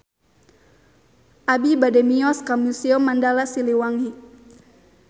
Abi bade mios ka Museum Mandala Siliwangi